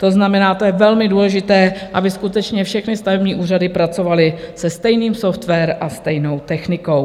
To znamená, to je velmi důležité, aby skutečně všechny stavební úřady pracovaly se stejným softwarem a stejnou technikou.